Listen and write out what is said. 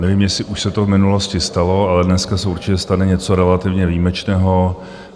Nevím, jestli už se to v minulosti stalo, ale dneska se určitě stane něco relativně výjimečného.